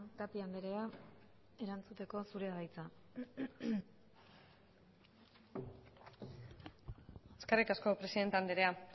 tapia andrea erantzuteko zurea da hitza eskerrik asko presidente andrea